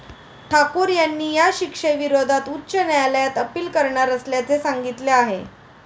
ठाकूर यांनी या शिक्षेविरोधात उच्च न्यायालयात अपील करणार असल्याचे सांगितले आहे.